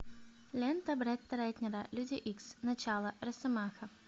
лента бретта рэтнера люди икс начало росомаха